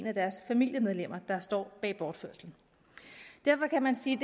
af deres familiemedlemmer der står bag bortførelsen derfor kan man sige